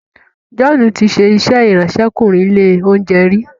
John tí ṣe iṣé Ìráńṣẹ́kùnrin ilé-oúnjẹ rí.